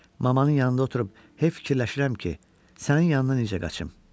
Mamanın yanında oturub hey fikirləşirəm ki, sənin yanına necə qaçım?